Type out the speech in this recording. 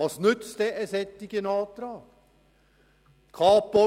Was nützt ein solcher Antrag sonst?